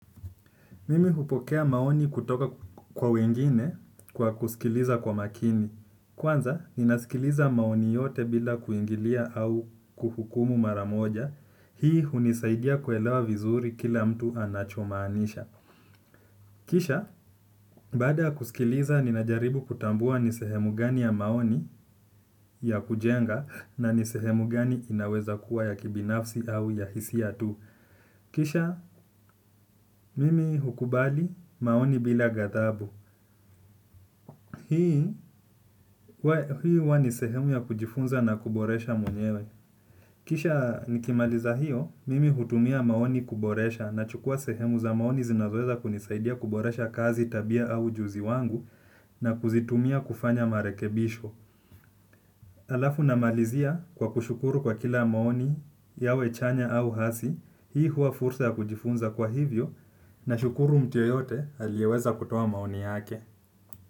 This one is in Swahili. Mimi hupokea maoni kutoka kwa wengine kwa kusikiliza kwa makini. Kwanza, nina sikiliza maoni yote bila kuingilia au kuhukumu mara moja. Hii hunisaidia kuelewa vizuri kila mtu anachomaanisha kisha, baada ya kusikiliza, ninajaribu kutambua ni sehemu gani ya maoni ya kujenga na ni sehemu gani inaweza kuwa ya kibinafsi au ya hisia tu. Kisha, mimi hukubali maoni bila gathabu. Hii huwa ni sehemu ya kujifunza na kuboresha mwenyewe kisha nikimaliza hiyo, mimi hutumia maoni kuboresha nahukua sehemu za maoni zinazoweza kunisaidia kuboresha kazi tabia au ujuzi wangu na kuzitumia kufanya marekebisho. Alafu namalizia kwa kushukuru kwa kila maoni yawe chanya au hasi hii huwa fursa ya kujifunza kwa hivyo nashukuru mtu yeyote aliyeweza kutoa maoni yake.